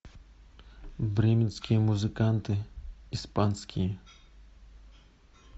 бременские музыканты испанские